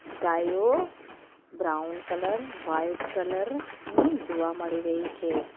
ગાયો brown colour white colour ની જોવા મળી રહી છે.